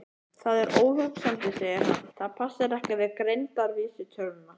Það er óhugsandi, segir hann, það passar ekki við greindarvísitöluna.